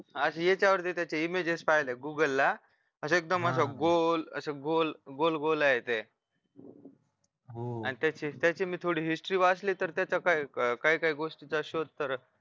आधी याच्यावरती त्याचे images पाहीले google ला असं एकदम असं गोल गोल गोल गोल आहे ते आणि त्याची त्याची मी थोडी history वाचली तर त्याच्या काही काही गोष्टींचा शोध तर